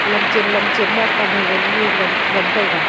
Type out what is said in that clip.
lam chen lam chen ma pan hagung nge ngam ngantaiga.